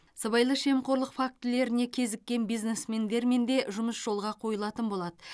сыбайлас жемқорлық фактілеріне кезіккен бизнесмендермен де жұмыс жолға қойылатын болады